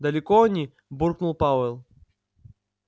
далеко они буркнул пауэлл